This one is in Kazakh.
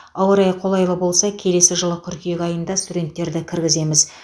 ауа райы қолайлы болса келесі жылы қыркүйек айында студенттерді кіргіземіз